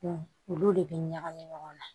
olu de bi ɲagami ɲɔgɔn na